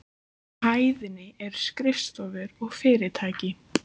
Á hæðinni eru skrifstofur og fyrirtæki.